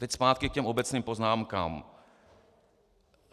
Teď zpátky k těm obecným poznámkám.